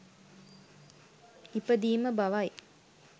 ඉපදීම බවයි.